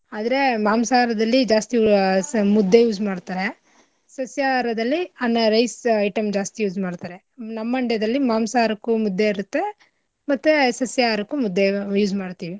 ಆದ್ರೆ ಮಾಂಸಹರದಲ್ಲಿ ಜಾಸ್ತಿ ಆಹ್ ಸ ಮುದ್ದೆ use ಮಾಡ್ತರೆ ಸಸ್ಯಾಹಾರದಲ್ಲಿ ಅನ್ನ rice item ಜಾಸ್ತಿ use ಮಾಡ್ತಾರೆ ನಮ್ ಮಂಡ್ಯದಲ್ಲಿ ಮಾಂಸಾಹರಕ್ಕೂ ಮುದ್ದೆ ಇರತ್ತೆ ಮತ್ತೆ ಸಸ್ಯಾಹಾರಕ್ಕೂ ಮುದ್ದೆ use ಮಾಡ್ತಿವಿ.